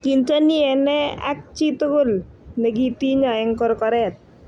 kinteni enee ak chi tukul ne kitinyo eng korkoret